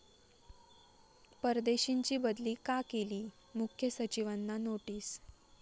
परदेशींची बदली का केली?,मुख्य सचिवांना नोटीस